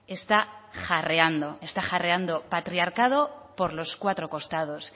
está jarreando está jarreando patriarcado por los cuatro costados